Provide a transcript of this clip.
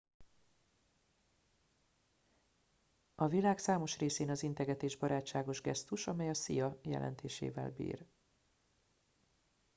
"a világ számos részén az integetés barátságos gesztus amely a "szia" jelentésével bír.